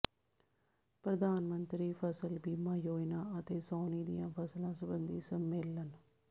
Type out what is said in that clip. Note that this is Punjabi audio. ਪ੍ਰਧਾਨ ਮੰਤਰੀ ਫਸਲ ਬੀਮਾ ਯੋਜਨਾ ਅਤੇ ਸਾਉਣੀ ਦੀਆਂ ਫਸਲਾਂ ਸਬੰਧੀ ਸੰਮੇਲਨ